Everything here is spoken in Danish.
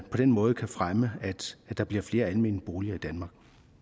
på den måde kan fremme at der bliver flere almene boliger i danmark